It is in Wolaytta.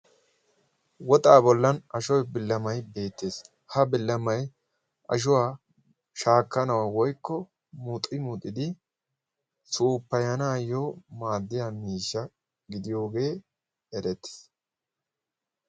woxaa bollan ashuwa billamay beettees ha billamay ashuwaa shaakkanawaa woykko muuxi muuxidi suuppayanaayyo maaddiya miishsha gidiyoogee erettiis